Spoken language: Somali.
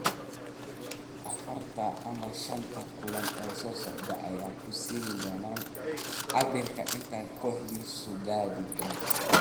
Afarta ama shanta kulan ee soo socda ayaa ku siin doona cabirka inta ay kooxdiisu gaadhi doonto.